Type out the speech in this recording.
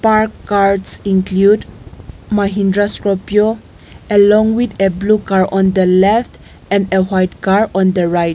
Park cars include mahindra scorpio along with a blue car on the left and a white car on the right.